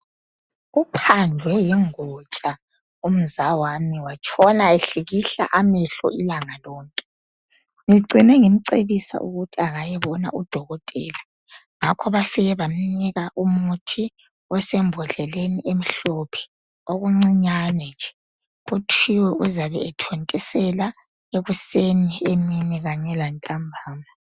Uphandlwe yingotsha umzawami watshona ehlikihla amehlo ilanga lonke. Ngicine ngimcebisa ukuthi kayebona udokotela. Ngakho bafike bamnika umuthi osembodleleni emhlophe, okuncinyane nje. Kuthiwe uzabe ethontisela ekseni, emini kanye lantambana.